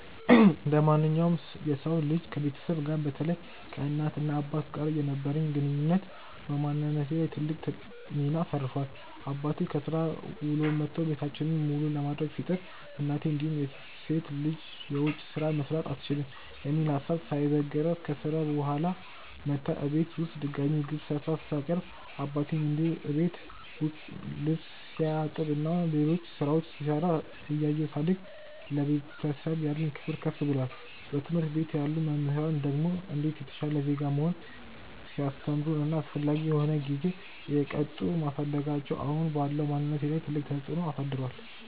እንደማንኛውም የሰው ልጅ ከቤተሰቤ ጋር በተለይ ከእናት እና አባቴ ጋር የነበረኝ ግንኙነት በማንነቴ ላይ ትልቅ ሚና አሳርፏል። አባቴ ከስራ ውሎ መቶ ቤታችንን መሉ ለማድረግ ሲጥር፤ እናቴም እንዲሁ ሴት ልጅ የውጭ ስራ መስራት አትችልም የሚል ሀሳብ ሳይበግራት ከስራ ውላ መታ እቤት ውስጥ ድጋሚ ምግብ ሰርታ ስታቀርብ አባቴም እንዲሁ እቤት ውስጥ ልብስ ሲያጥብ እና ሌሎች ስራዎች ሲሰራ እያየው ሳድግ ለቤተሰብ ያለኝ ክብር ከፍ ብሏል። በትምህርት ቤት ያሉ መምህራን ደግሞ እንዴት የተሻለ ዜጋ መሆን ሲያስተምሩን እና አስፈላጊ በሆነ ጊዜ እየቀጡን ማሳደጋቸው አሁን ባለው ማንነቴ ላይ ትልቅ ተፅዕኖ አሳድሯል።